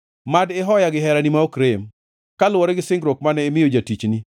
Mad ihoya gi herani ma ok rem, kaluwore gi singruok mane imiyo jatichni.